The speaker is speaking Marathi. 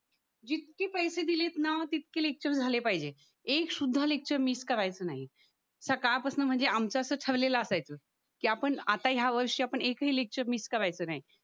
जितकी पैसे दिलेत ना तितकी लेक्चर झाले पाहिजे एक सुद्धा लेक्चर मिस करायचं नाही सकाळ पासना म्हणजे आमचं असं ठरलेलं असायचं कि आपण आता या वर्ष आपण एक हि लेक्चर मिस करायचं नाही